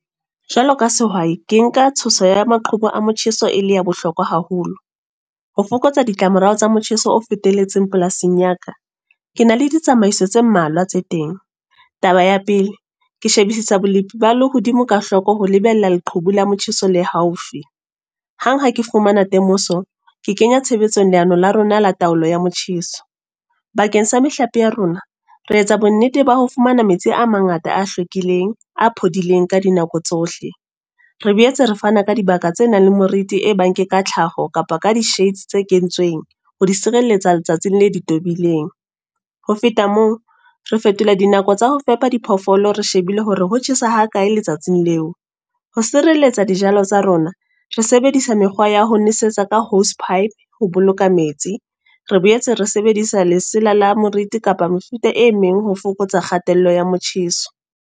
Jwaloka sehwai. Ke nka tshoso ya maqhubu a motjheso, e le ya bohlokwa haholo. Ho fokotsa ditlamorao tsa motjheso o fetelletseng polasing ya ka. Ke na le ditsamaiso tse mmalwa tse teng. Taba ya pele, ke shebisisa bolepi ba lehodimo ka hloko ho lebella leqhubu la motjheso le haufi. Hang ha ke fumana temoso, ke kenya tshebetsong leano la rona la taolo ya motjheso. Bakeng sa mehlape ya rona. Re etsa bonnete ba ho fumana metsi a mangata a hlwekileng, a phodileng ka dinako tsohle. Re boetse re fana ka dibaka tse nang le moriti e bang ke ka tlhaho kapa ka di-shades tse kentsweng ho di sireletsa letsatsi le di tobileng. Ho feta moo, re fetola dinako tsa ho fepa diphoofolo re shebile hore ho tjhesa ha kae letsatsing leo. Ho sireletsa dijalo tsa rona, re sebedisa mekgwa waho nesetsa ka hose pipe ho boloka metsi. Re boetse re sebedisa lesela le moriti kapa mefuta e meng ho fokotsa kgatello ya motjheso.